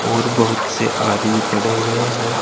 और बहुत से आदमी खड़े हुए हैं।